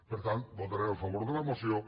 per tant votarem a favor de la moció